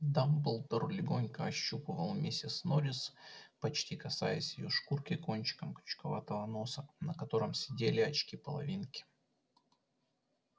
дамблдор легонько ощупывал миссис норрис почти касаясь её шкурки кончиком крючковатого носа на котором сидели очки-половинки